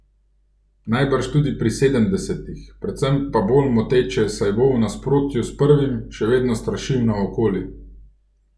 Najbrž tudi pri sedemdesetih, predvsem pa bolj moteče, saj bo, v nasprotju s prvim, še vedno strašil naokoli.